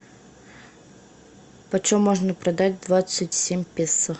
почем можно продать двадцать семь песо